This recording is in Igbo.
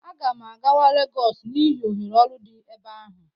Aga m akwaga Legọs n'ihi ohere ọrụ dị ebe ahụ